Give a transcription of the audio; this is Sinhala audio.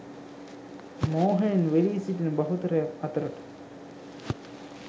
මෝහයෙන් වෙලී සිටින බහුතරයක් අතරට